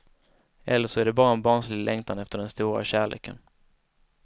Eller så är det bara en barnslig längtan efter den stora kärleken.